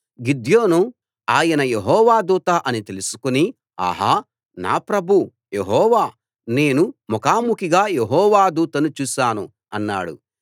గిద్యోను ఆయన యెహోవా దూత అని తెలుసుకుని అహా నా ప్రభూ యెహోవా నేను ముఖాముఖిగా యెహోవా దూతను చూశాను అన్నాడు